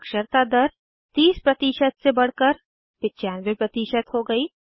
साक्षरता दर 30 से बढ़कर 95 हो गयी है